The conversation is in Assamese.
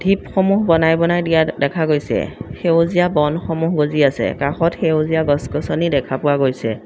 টিপসমূহ বনাই বনাই দিয়া দেখা গৈছে সেউজীয়া বনসমূহ গজি আছে কাষত সেউজীয়া গছ-গছনি দেখা পোৱা গৈছে।